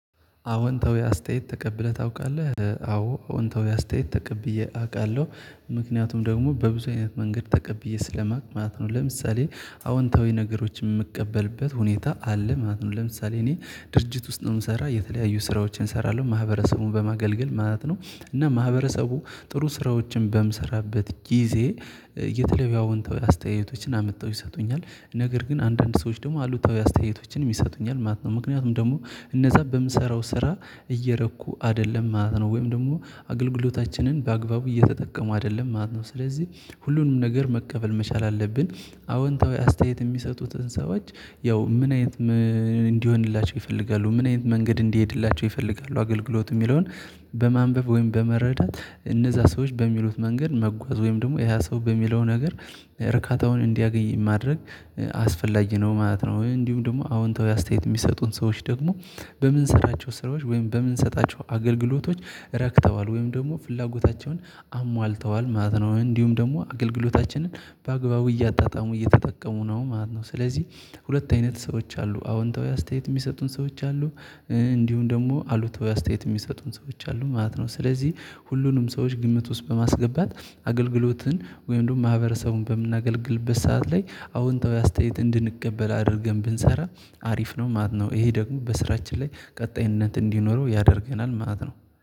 አወንታዊ አስተያየት ተቀብለህ ታውቃለህ አዎ አወንታዊ አስተያየት ተቀብዬ አውቃለሁ ምክንያቱም ደግሞ በብዙ አይነት መንገድ ተቀብዬ ስለማቅ ማለት ነው። ለምሳሌ አዎንታዊ ነገሮችን የምቀበልበት ሁኔታ አለ ማለት ነው። ለምሳሌ እኔ ድርጅት ውስጥ ነው የምሰራ የተለያዩ ስራዎችን እሰራለሁ ማህበረሰቡን በማገልገል ማለት ነው። እና ማህበረሰቡ ጥሩ ስራዎችን በምሰራበት ጊዜ የተለያዩ አወንታዊ አስተያየቶችን አምጥተው ይሰጡኛል። ነገር ግን አንዳንድ ሰዎች ደግሞ አሉታዊ አስተያየቶችንም ይሰጡኛል ማለት ነው። ምክንያቱም ደግሞ እነዛ በምሰራው ስራ እየረኩ አይደለም ማለት ነው ወይም ደግሞ አገልግሎታችንን በአግባቡ እየተጠቀሙ አይደለም ማለት ነው። ስለዚህ ሁሉንም ነገር መቀበል መቻል አለብን። አዎንታዊ አስተያየት የሚሰጡትን ሰዎች ያው ምን አይነት ምን እንዲሆንላቸው ይፈልጋሉ ምን አይነት መንገድ እንዲሄድላቸው ይፈልጋሉ አገልግሎት የሚለውን በማንበብ ወይም በመረዳት እነዛ ሰዎች በሚሉት መንገድ መጓዝ ወይም ደግሞ ያ ሰው በሚለው ነገር እርካታውን እንዲያገኝ ማድረግ አስፈላጊ ነው ማለት ነው። እንዲሁም ደግሞ አዎንታዊ አስተያየት የሚሰጡን ሰዎች ደግሞ በምንሰራቸው ስራዎች ወይም በምንሰጣቸው አገልግሎቶች ረክተዋል ወይም ደግሞ ፍላጎታቸውን አሟልተዋል ማለት ነው። እንዲሁም ደግሞ አገልግሎታችንን በአግባቡ እያጣጣሙ እየተጠቀሙ ነው ማለት ነው። ስለዚህ ሁለት አይነት ሰዎች አሉ አወንታዊ አስተያየት የሚሰጡን ሰዎች አሉ። እንዲሁም ደግሞ አሉታዊ አስተያየት የሚሰጡን ሰዎች አሉ ማለት ነው። ስለዚህ ሁሉንም ሰዎች ግምት ውስጥ በማስገባት አገልግሎትን ወይም እንደውም ማህበረሰቡን በምናገልግልበት ሰዓት ላይ አዎንታዊ አስተያየት እንድንቀበል አድርገን ብንሰራ አሪፍ ነው ማለት ነው። ይሄ ደግሞ በስራችን ላይ ቀጣይነት እንዲኖረው ያደርገናል ማለት ነው